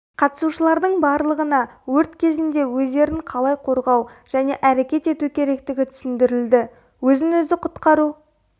қатысушылардың барлығына өрт кезінде өздерін қалай қорғау және әрекет ету керектігі түсіндірілді өзін өзі құтқару